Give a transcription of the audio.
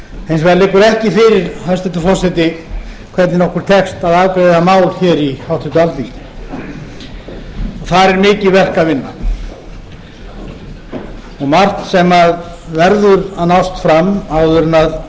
hins vegar liggur ekki fyrir hæstvirtur forseti hvernig okkur tekst að afgreiða mál hér í háttvirtu alþingi þar er mikið verk að vinna og margt verður að nást fram áður en